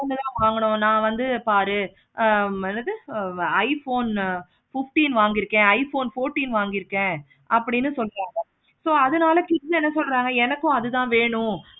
நா வந்து பாரு ஆஹ் என்னது iphone fifteen வாங்கிருக்கேன் iphone fourteen வாங்கிருக்கேன் அப்படின்னு சொன்னாங்க so அதனால kids என்ன சொல்றாங்க அது தான் வேணும்.